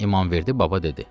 İmamverdi baba dedi: